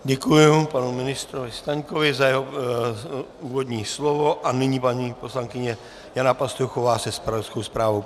Děkuji panu ministrovi Staňkovi za jeho úvodní slovo a nyní paní poslankyně Jana Pastuchová se zpravodajskou zprávou.